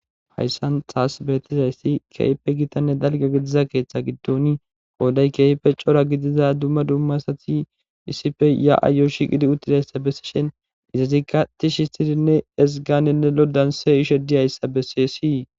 Hayssan xaas beetizayssi keeype gitanne dalga gidiza keeththe giddoni qooday keeyipe cora gidiza dumma dumma asati issife ya'ayo shiqidi uttidayssa bessishen izazikka ti shistirinne esganinne lodanse ishe diyayssa bessey sii.